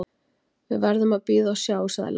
Við verðum að bíða og sjá, sagði Lambert.